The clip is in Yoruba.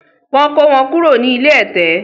Wọ́n kó wọn kúrò ní ilé ẹ̀tẹ̀